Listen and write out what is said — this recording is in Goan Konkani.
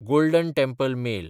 golden temple mail